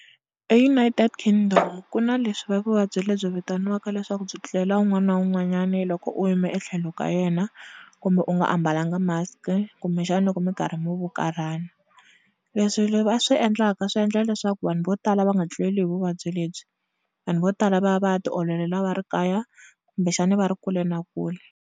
EUnited Kingdom ku na leswi va vuvabyi leby vitaniaka lswaku byi tlulela un'wana na un'wanyana lokom u yime etlhelo ka yena kumbe u nga ambalanga mask kumbexana loko mi karhi mi vukarhana leswi va swi endlaka swi endla leswaku vanhu vo tala va nga tluleli hi vuvabyi lebyi vanhu vo tala va ya va ya tiololela va ri kaya kumbe xana va ri kule na kule.